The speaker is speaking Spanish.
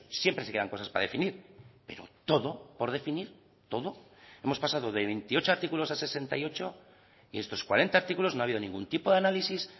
siempre se quedan cosas para definir pero todo por definir todo hemos pasado de veintiocho artículos a sesenta y ocho y estos cuarenta artículos no ha habido ningún tipo de análisis